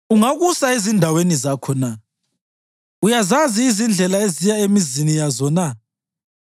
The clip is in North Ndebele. Ungakusa ezindaweni zakho na? Uyazazi izindlela eziya emizini yazo na?